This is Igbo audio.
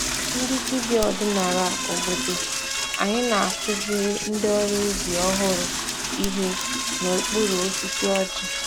Ndị dibịa ọdinala obodo anyị na-akụziri ndị ọrụ ubi ọhụrụ ihe n’okpuru osisi ọjị.